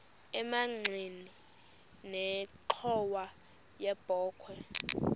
emagxeni nenxhowa yebokhwe